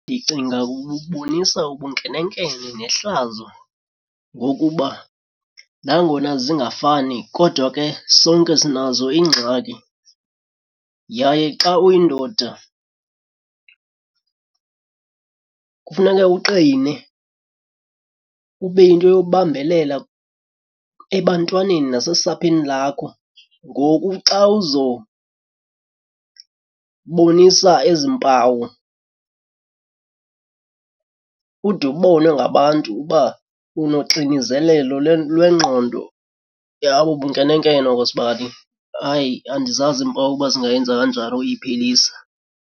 Ndicinga bubonisa ubunkenenkene nehlazo ngokuba nangona zingafani kodwa ke sonke sinazo iingxaki yaye xa uyindoda kufuneka uqine, ube yinto yokubambelela ebantwaneni nasesapheni lakho. Ngoku xa uzobonisa ezi mpawu ude ubonwe ngabantu uba unoxinizelelo lwengqondo, hayi bubunkenenkene obo sibali. Hayi, andizazi iimpawu uba zingayenza kanjani ukuyiphelisa.